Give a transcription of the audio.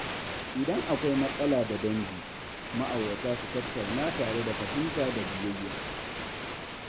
Idan akwai matsala da dangi, ma’aurata su tattauna tare da fahimta da biyayya.